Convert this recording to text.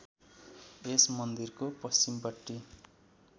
यस मन्दिरको पश्चिमपट्टि